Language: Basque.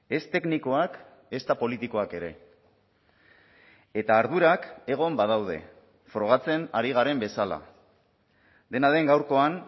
ez teknikoak ezta politikoak ere eta ardurak egon badaude frogatzen ari garen bezala dena den gaurkoan